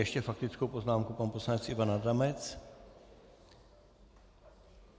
Ještě faktickou poznámku pan poslanec Ivan Adamec.